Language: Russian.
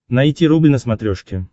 найти рубль на смотрешке